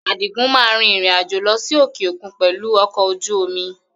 Adigun máa rìn-ìrìn àjò lọ sí òkè òkun pẹ̀lú ọkọ̀ ojú omi